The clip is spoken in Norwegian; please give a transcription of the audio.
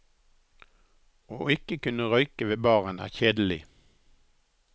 Å ikke kunne røyke ved baren er kjedelig.